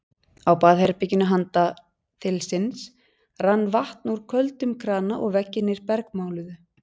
Á baðherberginu handan þilsins rann vatn úr köldum krana og veggirnir bergmáluðu.